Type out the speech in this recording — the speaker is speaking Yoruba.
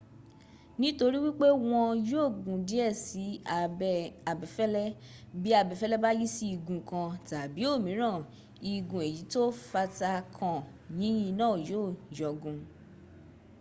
nítorí wípé wọ́n yọgun díẹ̀ sí abẹ́ abẹfẹ́lẹ́ bí abẹfẹ́lẹ́ bá yí sí igun kan tàbí òmíràn igun èyí tó fatakan yìnyín náà yó yọgun